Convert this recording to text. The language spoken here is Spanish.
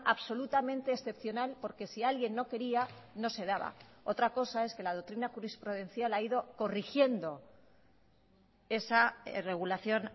absolutamente excepcional porque si alguien no quería no se daba otra cosa es que la doctrina jurisprudencial ha ido corrigiendo esa regulación